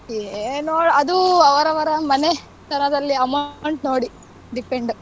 ಏನೋ ಅದು ಅವರವರ ಮನೆತನದಲ್ಲಿ amount ನೋಡಿ depend .